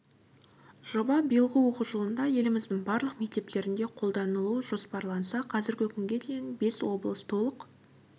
жоба биылғы оқу жылында еліміздің барлық мектептерінде қолданылу жоспарланса қазіргі күнге дейін бес облыс толық